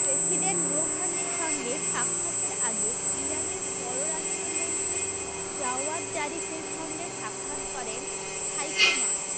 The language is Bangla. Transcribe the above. প্রেসিডেন্ট রুহানির সঙ্গে সাক্ষাতের আগে ইরানের পররাষ্ট্রমন্ত্রী জাওয়াদ জারিফের সঙ্গে সাক্ষাৎ করেন হাইকো মাস